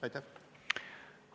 Aitäh!